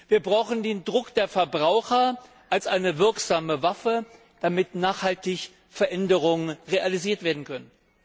Wir brauchen den Druck der Verbraucher als eine wirksame Waffe, damit nachhaltig Veränderungen realisiert werden können.